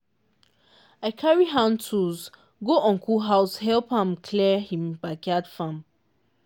i carry hand tools go uncle house help am clear him backyard farm.